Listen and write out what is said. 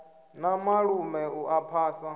na malume u a phasa